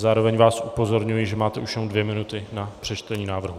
Zároveň vás upozorňuji, že máte už jenom dvě minuty na přečtení návrhu.